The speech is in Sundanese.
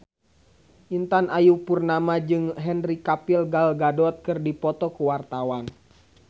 Intan Ayu Purnama jeung Henry Cavill Gal Gadot keur dipoto ku wartawan